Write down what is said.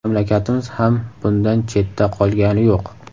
Mamlakatimiz ham bundan chetda qolgani yo‘q.